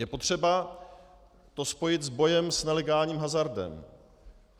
Je potřeba to spojit s bojem s nelegálním hazardem.